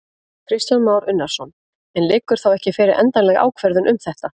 Kristján Már Unnarsson: En liggur þá ekki fyrir endanleg ákvörðun um þetta?